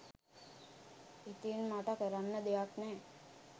ඉතිං මට කරන්න දෙයක් නෑ